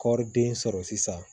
Kɔriden sɔrɔ sisan